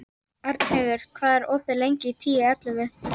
Arnheiður, hvað er opið lengi í Tíu ellefu?